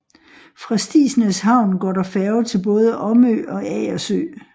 Fra Stigsnæs Havn går der færge til både Omø og Agersø